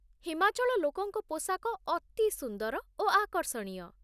ହିମାଚଳ ଲୋକଙ୍କ ପୋଷାକ ଅତି ସୁନ୍ଦର ଓ ଆକର୍ଷଣୀୟ